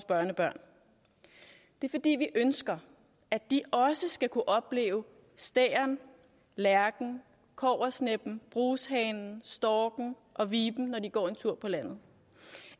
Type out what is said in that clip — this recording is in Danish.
børnebørn det er fordi vi ønsker at de også skal kunne opleve stæren lærken kobbersneppen brushanen storken og viben når de går en tur på landet